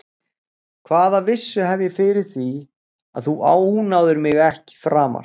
Hvaða vissu hef ég fyrir því að þú ónáðir mig ekki framar?